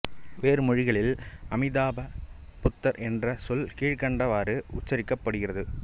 வேறு மொழிகளில் அமிதாப புத்தர் என்ற சொல் கீழ்க்கண்டவாறு உச்சரிக்கப்படுகிறது